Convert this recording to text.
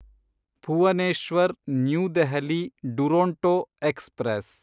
Bhuvneshwar new Delhi Duronto express